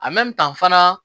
fana